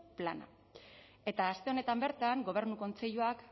plana eta aste honetan bertan gobernu kontseiluak